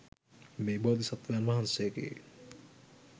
මේ බෝධිසත්වයන් වහන්සේගේ